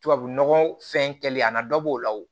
Tubabu nɔgɔ fɛn kɛlen a na dɔ b'o la o